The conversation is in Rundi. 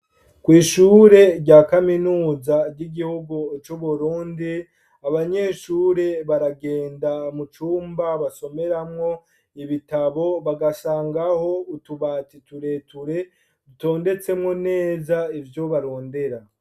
Kw'ishure rya kaminuza ry'igihugu c'u Burundi abanyeshure baragenda mu cumba basomeramwo ibitabo bagasangaho utubati tureture dutondetsemwo neza ivyo barondera.